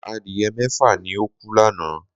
Adìyẹ mẹ́fà ni ó kú lánàá